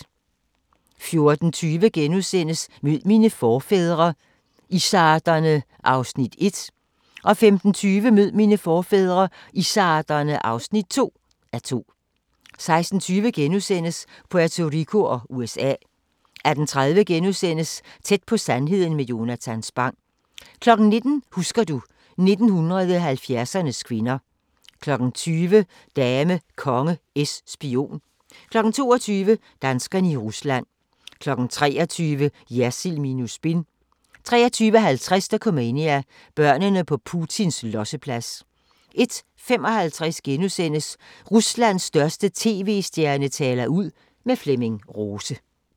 14:20: Mød mine forfædre – izzarderne (1:2)* 15:20: Mød mine forfædre – izzarderne (2:2) 16:20: Puerto Rico og USA * 18:30: Tæt på sandheden med Jonatan Spang * 19:00: Husker du ... 1970'ernes kvinder 20:00: Dame, konge, es, spion 22:00: Danskerne i Rusland 23:00: Jersild minus spin 23:50: Dokumania: Børnene på Putins losseplads 01:55: Ruslands største TV-stjerne taler ud - med Flemming Rose *